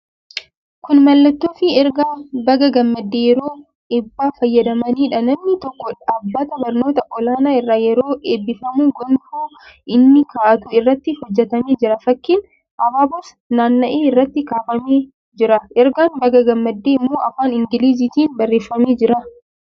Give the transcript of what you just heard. Kun mallattoofi ergaa "Baga gammaddee" yeroo eebbaa fayyadamaniidha. Namni tokko dhaabbata barnoota olaanoo irraa yeroo eebbifamu gonfoo inni kaa'atu irratti hojjetamee jira. Fakkiin abaaboos naanna'ee irratti kaafamee jira. Ergaan "Baga gammaddee" immoo afaan Ingiliziitiin barreeffamee jira.